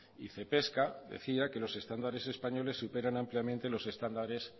y cepesca decía que los estándares españoles superan ampliamente los estándares